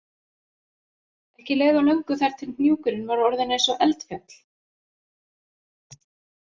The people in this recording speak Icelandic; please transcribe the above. Ekki leið á löngu þar til hnúkurinn var orðinn eins og eldfjall